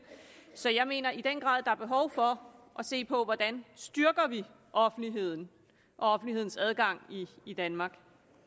så jeg mener i den grad at behov for at se på hvordan vi styrker offentligheden og offentlighedens adgang i danmark